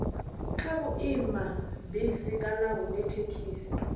kha vhuimabisi kana hune thekhisi